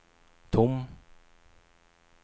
tom